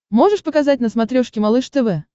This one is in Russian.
можешь показать на смотрешке малыш тв